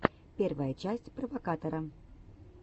первая часть провокатора